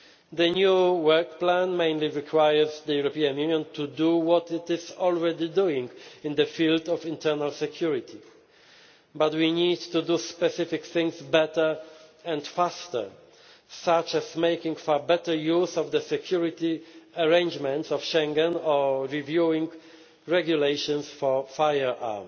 The new work plan mainly requires the European Union to do what it is already doing in the field of internal security, but we need to do specific things better and faster, such as making far better use of the security arrangements of Schengen or reviewing regulations for firearms.